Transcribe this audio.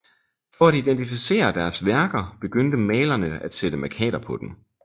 For at identificere deres værker begyndte malerne at sætte mærkater på dem